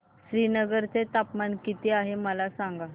श्रीनगर चे तापमान किती आहे मला सांगा